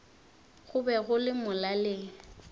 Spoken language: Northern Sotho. go be go le molaleng